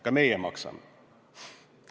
Ka meie maksame.